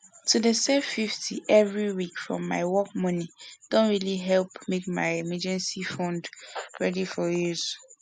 to dey save 50 every week from my work money don really help make my emergency fund ready for use